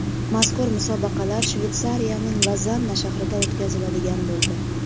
Mazkur musobaqalar Shveysariyaning Lozanna shahrida o‘tkaziladigan bo‘ldi.